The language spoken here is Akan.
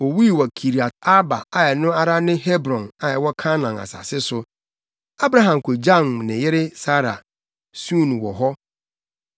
Owui wɔ Kiriat-Arba a ɛno ara ne Hebron a ɛwɔ Kanaan asase so. Abraham kogyam ne yere Sara, suu no wɔ hɔ.